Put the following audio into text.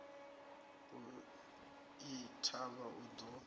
u i thivha u ḓo